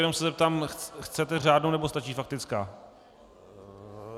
Jenom se zeptám: Chcete řádnou, nebo stačí faktická?